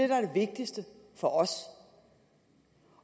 der er det vigtigste for os